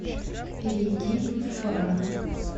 перейди в фара